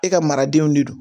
E ka maradenw de don